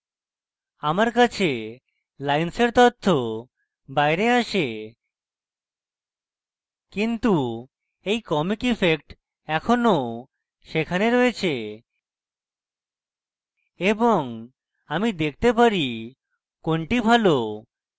আমার কাছে lines তথ্য বাইরে আসে কিন্তু এই comic ইফেক্ট এখনও সেখানে রয়েছে এবং আমি দেখতে পারি কোনটি ভালো